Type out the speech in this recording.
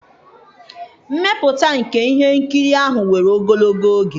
mmepụta nke ihe nkiri ahụ were ogologo oge.